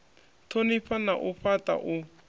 thonifha na u fhata u